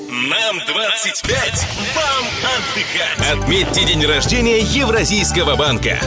нам двадцать пять вам отдыхать отметьте день рождения евразийского банка